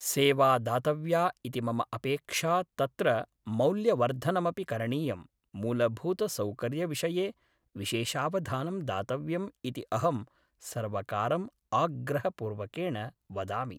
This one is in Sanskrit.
सेवा दातव्या इति मम अपेक्षा तत्र मौल्यवर्धनमपि करणीयं मूलभूतसौकर्यविषये विशेषावधानं दातव्यम् इति अहं सर्वकारम् आग्रहपूर्वकेण वदामि